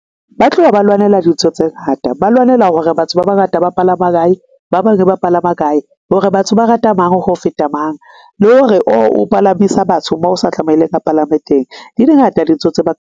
Ba tloha ba lwanela dintho tse ngata, ba lwanela hore batho ba bangata ba palama kae, ba bang ba palama kae hore batho ba rata mang, ho feta mang, le hore o o palamisa batho bao sa tlameleng a palame teng. Di di ngata dintho tse ba ka.